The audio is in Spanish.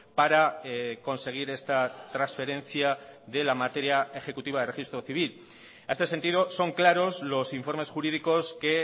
para conseguir esta transferencia de la materia ejecutiva de registro civil a este sentido son claros los informes jurídicos que